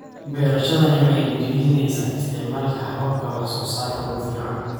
Beerashadani waxay dhiirigelinaysaa isticmaalka hababka wax soo saarka ugu fiican.